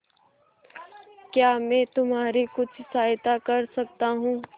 क्या मैं तुम्हारी कुछ सहायता कर सकता हूं